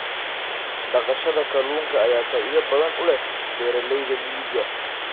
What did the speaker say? Dhaqashada kalluunka ayaa faa'iido badan u leh beeralayda miyiga.